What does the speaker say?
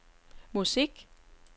musik